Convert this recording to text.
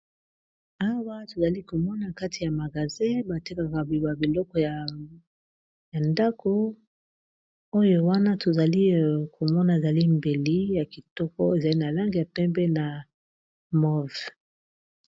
Awa tozali komona kati ya magasin batekaka ba biloko ya ndako oyo wana tozali komona ezali mbeli ya kitoko ezali na lange ya pembe na move.